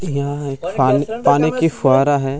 यह एक पानी पानी की फव्वारा है।